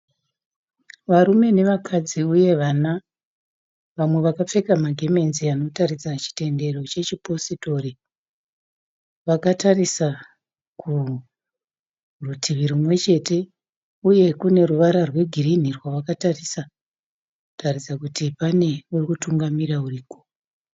Varume nevakadzi uye vana. Vamwe vakapfeka magemenzi anoratidza chitendero chechipositori. Vakatarisa kurutivi rumwechete uye kune ruvara rwegirinhi rwavakatarisa kuratidza kuti kune ari kutungamira ariko